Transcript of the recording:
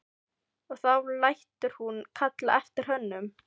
Og þá lætur hún kalla eftir honum.